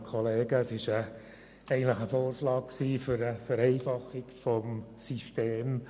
Eigentlich war es ein Vorschlag zur Vereinfachung des Systems.